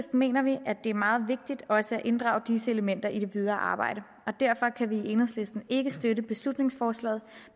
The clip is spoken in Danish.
mener vi at det er meget vigtigt også at inddrage disse elementer i det videre arbejde og derfor kan vi i enhedslisten ikke støtte beslutningsforslaget